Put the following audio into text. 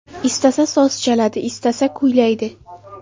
Istasa soz chaladi, istasa kuylaydi.